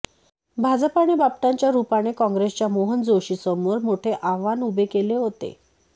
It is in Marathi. भाजपाने बापटांच्या रुपाने काँग्रेसच्या मोहन जोशींसमोर मोठे आव्हान उभे केले होते